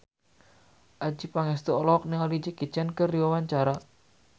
Adjie Pangestu olohok ningali Jackie Chan keur diwawancara